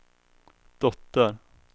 dotter